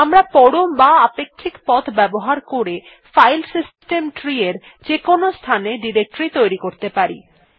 আমরা পরম বা আপেক্ষিক পথ ব্যবহার করে ফাইল সিস্টেম tree এর যেকোনো স্থানে ডিরেক্টরী তৈরী করতে পারি